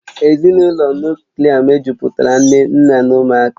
Ezinụlọ Nuklià mejupụtara nne nna na ụmụaka